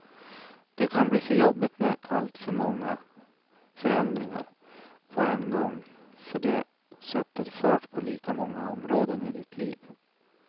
Det kan bli för jobbigt med alltför många förändringar på en gång för det sätter fart på lika många områden i ditt liv.